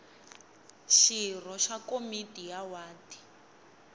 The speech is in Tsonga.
xirho xa komiti ya wadi